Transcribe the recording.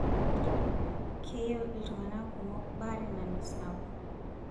Keyieu iltung'ana kumok baare nalus nabo.